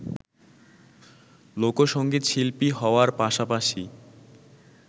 লোকসংগীতশিল্পী হওয়ার পাশাপাশি